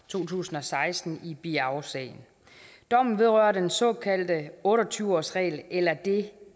to tusind og seksten i biaosagen dommen vedrører den såkaldte otte og tyve årsregel eller det